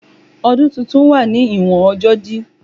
Odun titun wa ni iwon ọjọ di